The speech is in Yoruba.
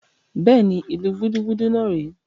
Bẹ́ẹ̀ni, ìlu gúdúgúdú náà rè é